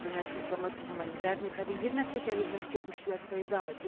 koordynacji pomocy humanitarnej, prawie jedna trzecia ludności opuściła swoje domy.